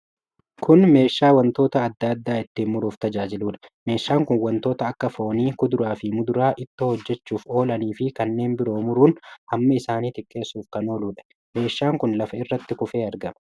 Kun meeshaa wantoota adda addaa ittiin muruuf tajaajiluudha. Meeshaan kun wantoota akka foonii kuduraa fi muduraa ittoo hojjachuuf oolan fi kanneen biroo muruun hamma isaanii xiqqeessuf kan ooludha. Meeshaan kun lafa irratti kufee argama.